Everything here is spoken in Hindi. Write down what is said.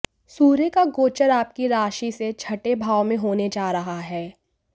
सूर्य का गोचर आपकी राशि से छठे भाव में होने जा रहा है